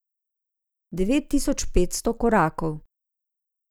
Devet tisoč petsto korakov.